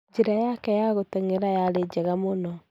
Njĩra yake ya gũtengera yari jega mũno.